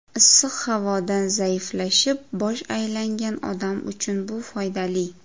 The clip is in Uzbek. Issiq havodan zaiflashib, bosh aylangan odam uchun bu foydali.